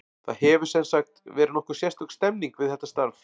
Það hefur, sem sagt, verið nokkuð sérstök stemming við þetta starf.